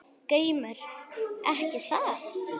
GRÍMUR: Ekki það?